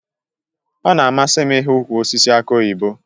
Ọ na-amasị m ị hụ ukwụ osisi aki oyibo